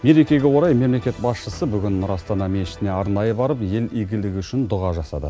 мерекеге орай мемлекет басшысы нұр астана мешітіне арнайы барып ел игілігі үшін дұға жасады